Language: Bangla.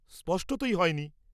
স্পষ্টতই হয়নি।